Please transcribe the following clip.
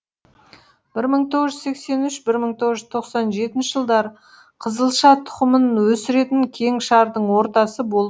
бір мың тоғыз жүз сексен үш бір мың тоғыз жүз тоқсан жетінші жылдары қызылша тұқымын өсіретін кеңшардың ортасы болып